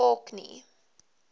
orkney